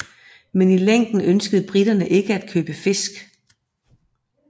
Men i længden ønskede briterne ikke at købe fisk